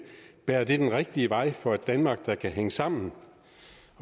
bærer den rigtige vej for et danmark der kan hænge sammen